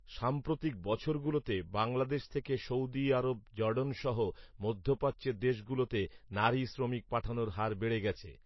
সাম্প্রতিক বছরগুলোতে বাংলাদেশ থেকে সৈৗদি আরব জর্ডানসহ মধ্যপ্রাচ্যের দেশ গুলোতে নারী শ্রমিক পাঠানোর হার বেড়ে গেছে